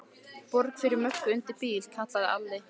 Borg fyrir Möggu undir bíl, kallaði Alli.